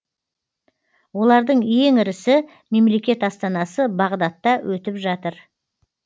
олардың ең ірісі мемлекет астанасы бағдадта өтіп жатыр